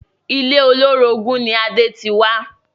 Ilé olórogún ni Adé ti wá